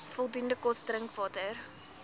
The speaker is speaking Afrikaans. voldoende kos drinkwater